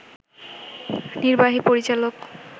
নির্বাহী পরিচালক